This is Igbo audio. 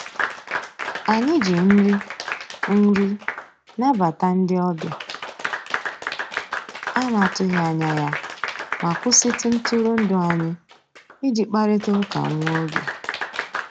Anyị jì nrì nrì nàbàtà ndị ọbìà a nà-atụghị anyà yá mà kwụsịtụ ntụrụndụ anyị ìjì kparịtà ụkà nwá ògè.